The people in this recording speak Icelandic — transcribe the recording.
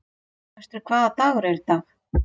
Austri, hvaða dagur er í dag?